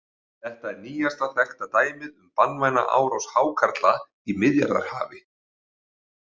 Þetta er nýjasta þekkta dæmið um banvæna árás hákarla í Miðjarðarhafi.